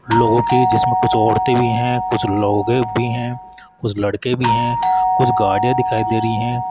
लोगों की जिसमें कुछ औरतें भी है कुछ लोगे भी है कुछ लड़के भी है कुछ गाड़ियां दिखाई दे रही है।